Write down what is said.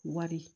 Wari